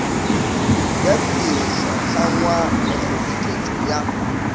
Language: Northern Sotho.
ya didirišwahlangwa le kgoboketšo ya